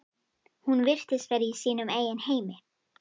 Hún virtist vera í sínum eigin heimi.